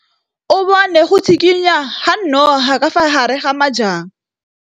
O bone go tshikinya ga noga ka fa gare ga majang.